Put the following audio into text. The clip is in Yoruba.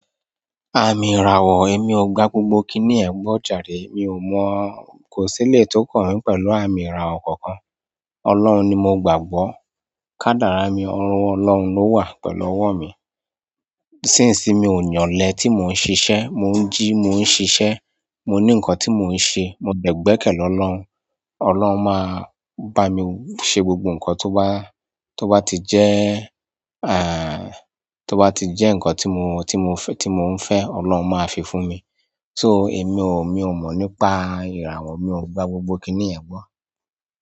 Àmì ìràwọ̀, èmi ò gbá gbogbo kiní yẹn gbọ́ jàre mi ò mọ̀ o. Kò sílé tó kàn mí pẹ̀lú àmì ìràwọ̀ kankan. Ọlọ́run ni mo gbàgbọ́. Kádàrá mi, ọwọ́ Ọlọ́run ló wà pẹ̀lú ọwọ́ mi. Sínsin mi ò ní ọ̀lẹ tí mò ń ṣiṣẹ́, mò ń jí, mò ń ṣiṣẹ́, mo ní nǹkan tí mò ń ṣe. Mo dẹ̀ gbẹ́kẹ̀ lọ́ lọ́run. Ọlọ́run máa bá mi ṣe gbogbo nǹkan tó bá, tó bá ti jẹ́, à, tó bá ti jẹ́ nǹkan tí mo, tí mo fẹ́, tí mò ń fẹ́, Ọlọ́run máa fi fún mi. So èmi ò, mi ò mọ̀ nípa ìràwọ̀, mi ò gba gbogbo kiní yẹn gbọ́.